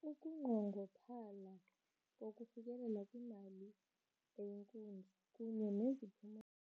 Ukunqongophala kokufikelela kwimali eyinkunzi kunye neziphumo.